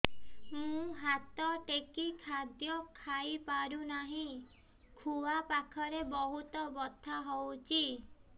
ମୁ ହାତ ଟେକି ଖାଦ୍ୟ ଖାଇପାରୁନାହିଁ ଖୁଆ ପାଖରେ ବହୁତ ବଥା ହଉଚି